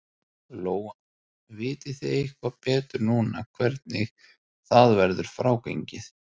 Lóa: Vitið þið eitthvað betur núna hvenær það verður frágengið?